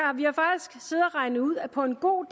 regnet ud at på en god